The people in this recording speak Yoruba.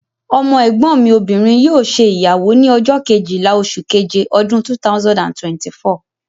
Ọmọ ẹ̀gbọ́n mi obìnrin yóò ṣe ìyàwó ní ọjọ́ Kejìlá oṣù keje ọdún 2024